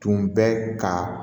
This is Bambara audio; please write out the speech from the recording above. Tun bɛ ka